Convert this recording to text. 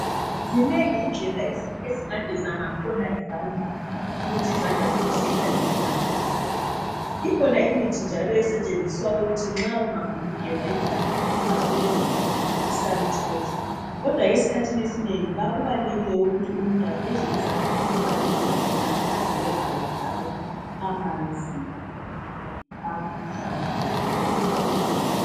Zinengi indlela esingageza ngakhona izandla ukuthi izandla zethu zihlale zihlambulukile. Ikhona imithi njalo esetshenziswa ukuthi nxa ungafuni ukugeza izandla sungasebenzisa i sanitizer kodwa esikhathini esinengi ba kubalulekile kakhulu ukuthi umuntu ageze izandla emanzini agelezayo njalo amanzi ahlambulukileyo